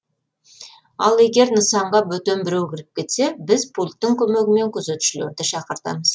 ал егер нысанға бөтен біреу кіріп кетсе біз пульттің көмегімен күзетшілерді шақыртамыз